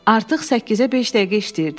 Artıq səkkizə beş dəqiqə işləyirdi,